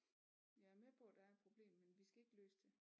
Jeg er med på der er et problem men vi skal ikke løse det